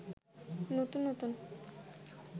নতুন নতুন